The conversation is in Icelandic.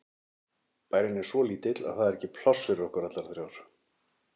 Bærinn er svo lítill að það er ekki pláss fyrir okkur allar þrjár.